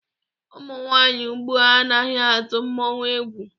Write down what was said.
Ụmụ nwaanyị ugbua anaghị atụ mmọnwụ egwù.